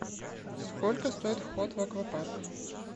сколько стоит вход в аквапарк